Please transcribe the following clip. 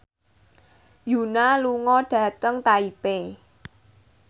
Yoona lunga dhateng Taipei